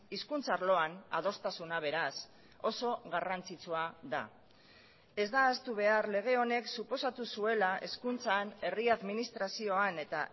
hizkuntz arloan adostasuna beraz oso garrantzitsua da ez da ahaztu behar lege honek suposatu zuela hezkuntzan herri administrazioan eta